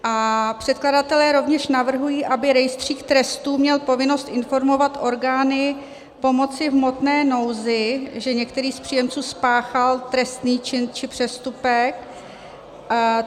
A předkladatelé rovněž navrhují, aby rejstřík trestů měl povinnost informovat orgány pomoci v hmotné nouzi, že některý z příjemců spáchal trestný čin či přestupek.